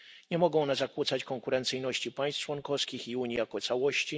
Nie mogą one zakłócać konkurencyjności państw członkowskich i Unii jako całości.